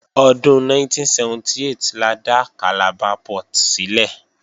Ọdún 1978 la dá Calabar Port sílẹ̀